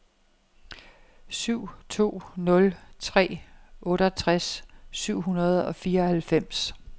syv to nul tre otteogtres syv hundrede og fireoghalvfems